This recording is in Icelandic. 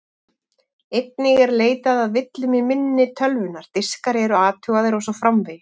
Einnig er leitað að villum í minni tölvunnar, diskar eru athugaðir og svo framvegis.